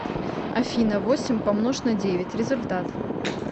афина восемь помнож на девять результат